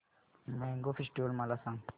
mango festival मला सांग